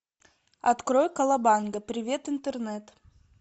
открой колобанга привет интернет